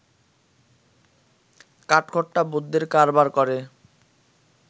কাঠখোট্টা বুদ্ধির কারবার করে